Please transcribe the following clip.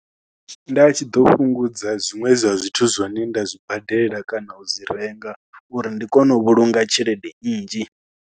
Nda tshi ḓo fhungudza zwiṅwe zwa zwithu zwine nda zwi badela kana u zwi renga uri ndi kone u vhulunga tshelede nnzhi.